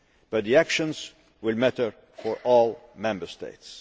But the actions will matter for all Member States.